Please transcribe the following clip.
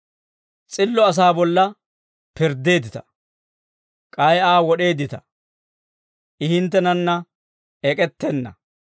S'illo asaa bolla pirddeeddita; k'ay Aa wod'eeddita; I hinttenanna ek'ettenna.